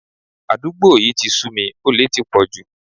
Àdúgbò yí ti sú mi, olè ti pọ̀ jù.